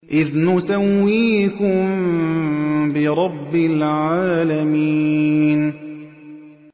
إِذْ نُسَوِّيكُم بِرَبِّ الْعَالَمِينَ